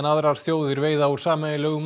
aðrar þjóðir veiða úr sameiginlegum